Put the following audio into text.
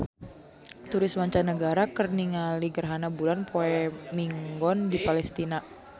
Turis mancanagara keur ningali gerhana bulan poe Minggon di Palestina